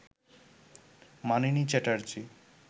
Manini Chatterjee